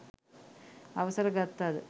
අවසර ගත්තද